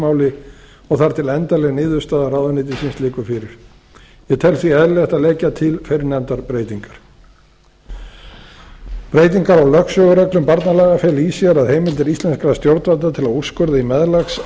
umgengnismáli og þar til endanleg niðurstaða ráðuneytisins liggur fyrir ég tel því eðlilegt að leggja til fyrrnefndar breytingar breytingar á lögsögureglum barnalaga fela í sér að heimildir íslenskra stjórnvalda til að úrskurða í